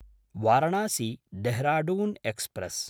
वारणासी–देहराडुन् express